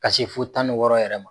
Ka se fo tan ni wɔɔrɔ yɛrɛ ma.